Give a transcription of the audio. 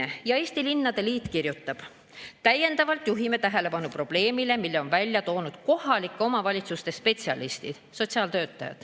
Eesti Linnade Liit kirjutab: "Täiendavalt juhime tähelepanu probleemile, mille on välja toonud kohalike omavalitsuste spetsialistid.